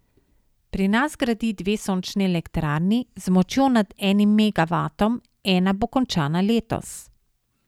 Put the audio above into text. Pri nas gradi dve sončni elektrarni z močjo nad enim megavatom, ena bo končana letos.